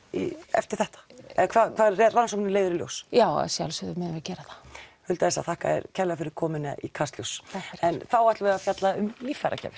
eftir þetta eða hvað rannsóknin leiðir í ljós já að sjálfsögðu munum við gera það Hulda þakka þér kærlega fyrir komuna í kastljós en þá ætlum við að fjalla um líffæragjafir